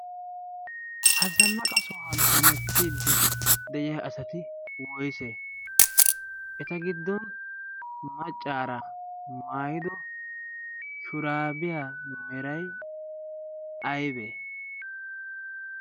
Ha zannaqa sohuwan hemettiiddi de'iya asati woyse? Eta giddon maccaara maayido shuraabiyaa meray aybee?